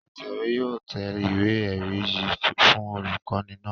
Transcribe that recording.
Atẹ̀wé yóò tẹ ìwé-ẹ̀rí yìí fún olùkọ́ní náà.